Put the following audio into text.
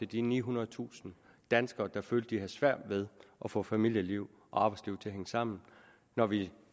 de nihundredetusind danskere der følte at de havde svært ved at få familieliv og arbejdsliv til at hænge sammen når vi